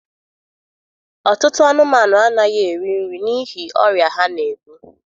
Ọtụtụ anụmanụ anaghị eri nri n'ihi ọrịa ha na-ebu.